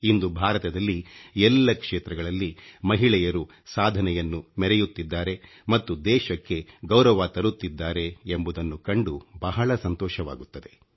ಇಂದು ಭಾರತದಲ್ಲಿ ಎಲ್ಲ ಕ್ಷೇತ್ರಗಳಲ್ಲಿ ಮಹಿಳೆಯರು ಸಾಧನೆಯನ್ನು ಮೆರೆಯುತ್ತಿದ್ದಾರೆ ಮತ್ತು ದೇಶಕ್ಕೆ ಗೌರವ ತರುತ್ತಿದ್ದಾರೆ ಎಂಬುದನ್ನು ಕಂಡು ಬಹಳ ಸಂತೋಷವಾಗುತ್ತದೆ